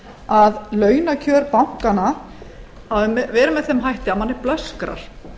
að launakjör bankanna hafa verið með þeim hætti að mönnum blöskrar